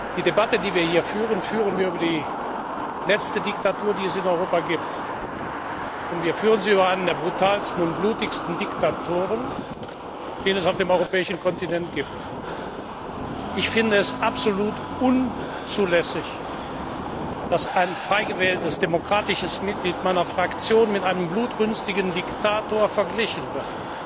Die Debatte, die wir hier führen, führen wir über die letzte Diktatur, die es in Europa gibt. Und wir führen sie über einen der brutalsten und blutigsten Diktatoren, den es auf dem europäischen Kontinent gibt. Ich finde es absolut unzulässig, dass ein frei gewähltes, demokratisches Mitglied meiner Fraktion mit einem blutrünstigen Diktator verglichen wird.